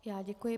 Já děkuji.